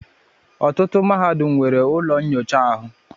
Ọtụtụ Mahadum nwere ụlọ nnyocha ahụ.